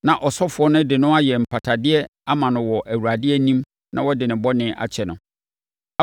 na ɔsɔfoɔ no de no ayɛ mpatadeɛ ama no wɔ Awurade anim na wɔde ne bɔne akyɛ no.”